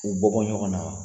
U bɔ bɔ ɲɔgɔn na wa.